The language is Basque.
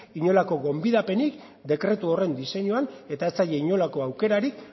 inolako gonbidapenik dekretu horren diseinuan eta ez zaie inolako aukerarik